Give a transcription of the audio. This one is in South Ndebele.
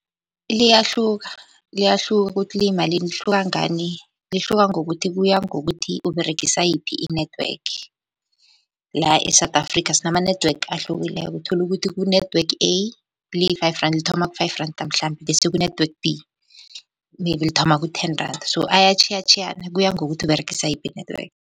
Liyahluka, liyahluka ukuthi liyimalini. Lihluka ngani? Lihluka ngokuthi kuya ngokuthi Uberegisa yiphi i-network. La e-South Africa sinama-network ahlukileko uthola ukuthi ku-network A liyi-five rand, lithoma ku-five rand mhlambe. Bese ku-network B maybe lithoma ku-ten rand. So ayatjhiyatjhiyana kuya ngokuthi Uberegisa yiphi i-network.